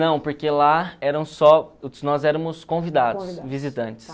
Não, porque lá eram só nós éramos convidados, visitantes.